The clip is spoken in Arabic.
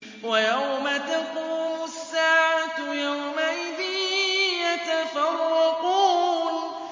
وَيَوْمَ تَقُومُ السَّاعَةُ يَوْمَئِذٍ يَتَفَرَّقُونَ